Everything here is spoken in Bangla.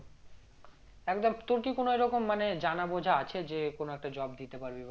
তোর কি কোনো এরকম মানে জানা বোঝা আছে যে কোনো একটা job দিতে পারবে বা